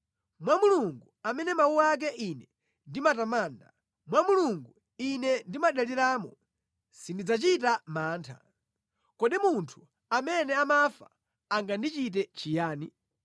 Mwa Mulungu, amene mawu ake ine ndimatamanda, mwa Mulungu ine ndimadaliramo; sindidzachita mantha. Kodi munthu amene amafa angandichite chiyani?